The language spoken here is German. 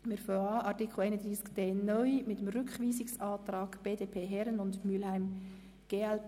Wir beginnen mit dem Rückweisungsantrag BDP/Herren und Mühlheim/glp.